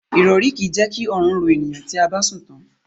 Irori ki je ki orun ro eniyan ti a ba sun tan